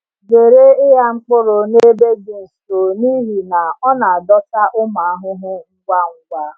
Zere ịgha mkpụrụ n’ebe dị nso n’ihi na ọ na-adọta ụmụ ahụhụ ngwa ngwa.